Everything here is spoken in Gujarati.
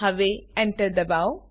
હવે Enter દબાવો